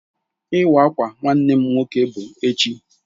Iwa awka Nwannem nwoke bu echi